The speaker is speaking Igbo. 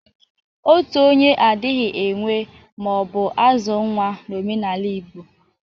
Otu onye adghi enwe ma ọ bụ azụ nwa n'omenaala Igbo.